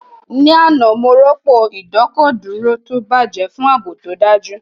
Ní àná, mo rọ́pò ìdọ́kọ̀dúró tó bàjẹ́ fún ààbò tó dájú